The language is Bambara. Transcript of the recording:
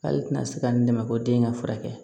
K'ale tɛna se ka n dɛmɛ ko den ka furakɛ